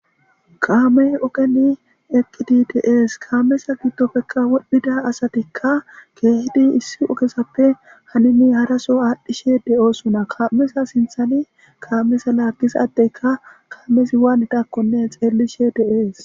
kaamey ogeni eqqidi de'es, kaameza giddopekka wodhdhida asatikka keehidi issi ogezappe hanini haraso aadhdhishe de'osona kameza sinthani kaamesza laagiza adeyka kaamezi waandakkonne xeellishe de'es